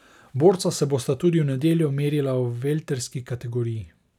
Borca se bosta tudi v nedeljo merila v velterski kategoriji.